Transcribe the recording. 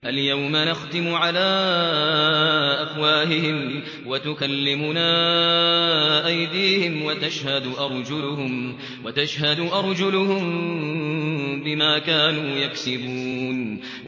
الْيَوْمَ نَخْتِمُ عَلَىٰ أَفْوَاهِهِمْ وَتُكَلِّمُنَا أَيْدِيهِمْ وَتَشْهَدُ أَرْجُلُهُم بِمَا كَانُوا يَكْسِبُونَ